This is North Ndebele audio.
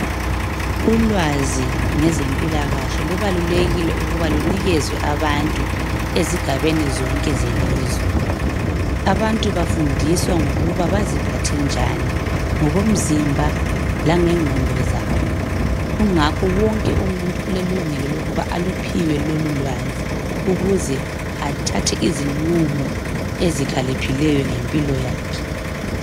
Ulwazi lwezempilakahle lubalulekile ukuba lunikezwe abantu ezigabeni zonke zelizwe'Abantu bafundiswa ngokuba baziphathe njani ngokomzimba langengqondo zabo .Kungako wonke umuntu ulelungelo lokuthi aluphiwe lolulwazi ukuze athathe izinqumo ezikhaliphileyo ngempilo yakhe.